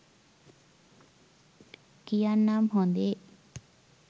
කියන්නම් හොදේ